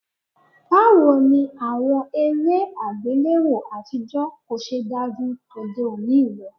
Báwo ni àwọn eré àgbéléwò àtijọ́ kò ṣe da ju tòde òní lọ?